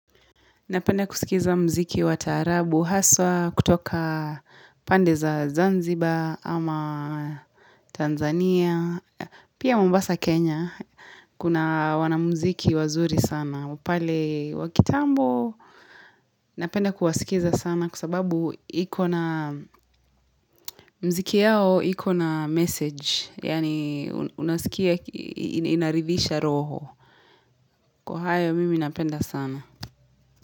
Napenda kusikiza mziki wa taarabu haswa kutoka pande za Zanzibar ama Tanzania. Pia mombasa Kenya, kuna wanamziki wazuri sana. Pale wa kitambo, napenda kuwasikiza sana kwa sababu mziki yao iko na message. Yaani unasikia inaridhisha roho. Kwa hayo mimi napenda sana.